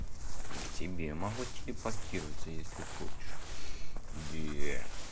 и к тебе могу телепортироваться если хочешь да